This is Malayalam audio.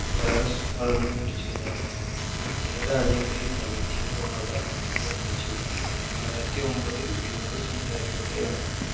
virus പടർന്നു പിടിച്ചതിനാൽ ചില രാജ്യങ്ങളിൽ negative പ്രവണത വർദ്ധിച്ചു രണ്ടയിരത്തി ഒമ്പതിൽ വിനോദ സഞ്ചാരികളുടെ എണ്ണം